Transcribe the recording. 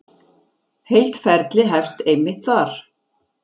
Heilt ferli hefst einmitt þar.